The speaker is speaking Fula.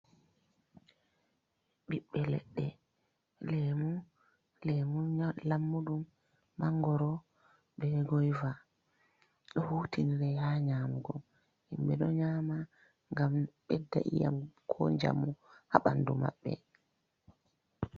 Ɓiɓɓe leɗɗe leemu, leemu lammuɗum mangoro bee goiva ɗo huutinire haa nyamugo, himɓe ɗo nyaama ngam bedda ƴiiƴam koo njamu haa ɓanndu maɓɓe.